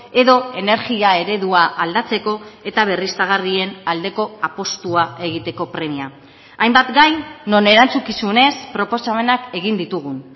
edo energia eredua aldatzeko eta berriztagarrien aldeko apustua egiteko premia hainbat gai non erantzukizunez proposamenak egin ditugun